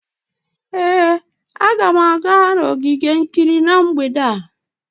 Ee, a ga m aga ogige ogige mgbede a